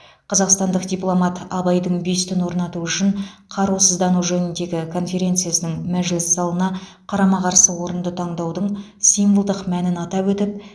қазақстандық дипломат абайдың бюстін орнату үшін қарусыздану жөніндегі конференцияның мәжіліс залына қарама қарсы орынды таңдаудың символдық мәнін атап өтіп